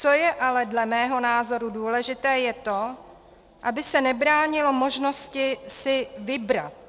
Co je ale dle mého názoru důležité, je to, aby se nebránilo možnosti si vybrat.